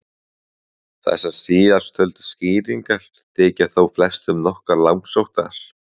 Þessar síðasttöldu skýringar þykja þó flestum nokkuð langsóttar.